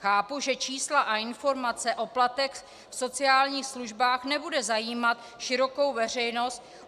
Chápu, že čísla a informace o platech v sociálních službách nebudou zajímat širokou veřejnost.